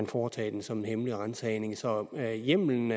foretages en sådan hemmelig ransagning så hjemmelen